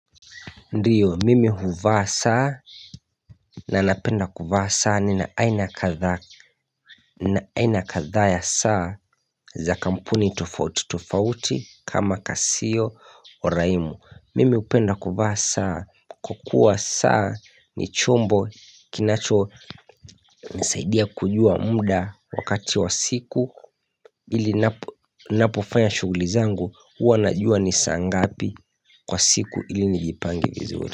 Ndio mimi huvaa saa na napenda kuvaa saa nina aina ya kalbak aina kadhaa ya saa za kampuni tofauti tofauti kama kasio oraimo Mimi hupenda kuvaa saa kukua saa ni chombo kinacho nisaidia kujua muda wakati wa siku ili napo napofanya shughulizangu uanajua nisa ngapi kwa siku ili nijipangi vizuri.